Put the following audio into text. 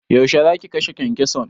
Yaushe zaki kashe kyankyason?